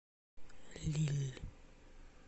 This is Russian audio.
лилль